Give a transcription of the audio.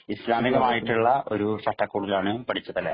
ഗ്രാമ്യമായിട്ടുള്ള ഒരു ചട്ടക്കൂട്ടിലാണ് പഠിച്ചത് അല്ലെ